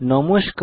নমস্কার